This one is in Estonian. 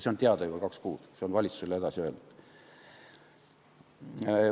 See on olnud teada juba kaks kuud, see on valitsusele edasi öeldud.